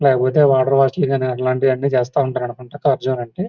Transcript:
లేకపోతె water ash లాంటివి అన్ని చేస్తారనుకుంటా కర్జోనే అంటే--